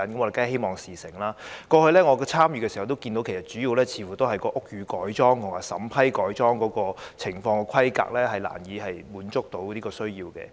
過去，在我參與的時候，主要問題似乎也是屋宇改裝或改裝的規格難以滿足要求。